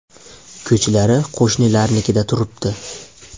Ko‘chlari qo‘shnilarnikida turibdi.